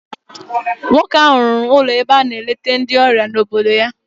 Nwoke ahụ rụrụ ụlọ ebe a na-eleta ndị ọrịa n'obodo ya.